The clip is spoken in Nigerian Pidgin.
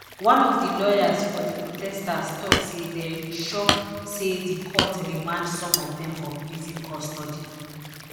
one of di lawyers for di protesters tok say dem shock say di court remand some of dem for prison custody